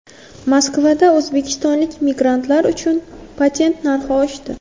Moskvada o‘zbekistonlik migrantlar uchun patent narxi oshdi.